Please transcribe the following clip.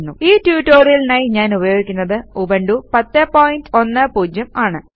ഈ ട്യൂട്ടോറിയലിനായി ഞാൻ ഉപയോഗിക്കുന്നത് ഉബണ്ടു 1010 ആണ്